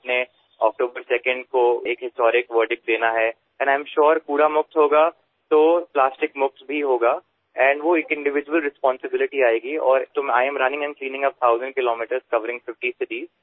যিদৰে আপুনি ২ অক্টোবৰক এক ঐতিহাসিক শপতলৈ পৰিণত কৰিছে আৰু মই নিশ্চিত যে আৱৰ্জনামুক্ত হব প্লাষ্টিকমুক্তও হব আৰু এয়া এক ব্যক্তিগত দায়িত্বলৈ পৰিণত হব আৰু মই ৫০ খন চহৰ সামৰি হাজাৰ কিলোমিটাৰৰ এই দৌৰা আৰু পৰিষ্কাৰ কৰা অভিযানৰ সূচনা কৰিছো